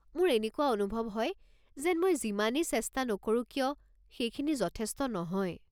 মোৰ এনেকুৱা অনুভৱ হয় যেন মই যিমানেই চেষ্টা নকৰো কিয়, সেইখিনি যথেষ্ট নহয়।